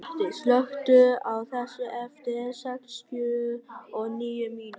Addý, slökktu á þessu eftir sextíu og níu mínútur.